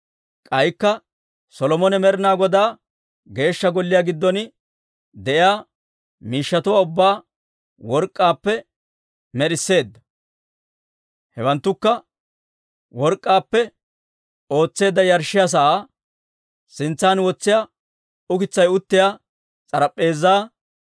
K'aykka Solomone Med'inaa Godaa Geeshsha Golliyaa giddon de'iyaa miishshatuwaa ubbaa work'k'aappe med'isseedda. Hewanttukka: Work'k'aappe ootseedda yarshshiyaa sa'aa, Sintsan wotsiyaa ukitsay uttiyaa s'arp'p'eezaa,